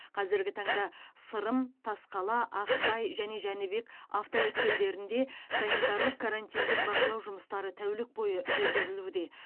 қазіргі таңда сырым тасқала ақсай және жәнібек автоөткелдерінде санитарлық карантиндік бақылау жұмыстары тәулік бойы жүргізілуде